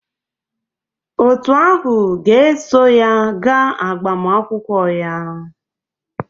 Òtù ahụ ga-eso ya gaa agbamakwụkwọ ya